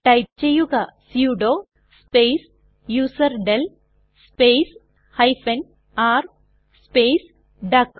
type ചെയ്യുക sudo space userdel space r space duck